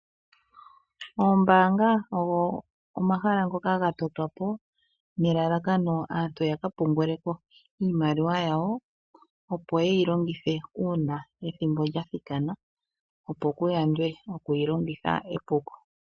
Oombaanga ogo omahala ngoka ga totwapo ne la lakano aantu ya ka pungule ko iimaliwa yawo, opo yeyi longithe uuna ethimbo lya thika na, opo ku ya ndwe oku yi longitha epuko.